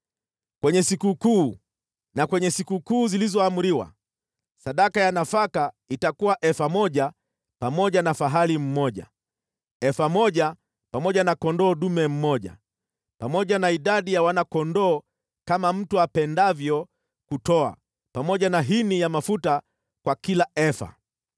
“ ‘Kwenye sikukuu na kwenye sikukuu zilizoamriwa, sadaka ya nafaka itakuwa efa moja pamoja na fahali mmoja, efa moja pamoja na kondoo dume mmoja, pamoja na idadi ya wana-kondoo kama mtu apendavyo kutoa, pamoja na hini ya mafuta kwa kila efa.